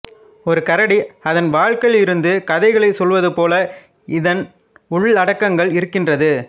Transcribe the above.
ஒரு கரடி அதன் வாழ்க்கையிலிருந்து கதைகளைச் சொல்வது போல இதன் உள்ளடக்கங்கள் இருக்கின்றது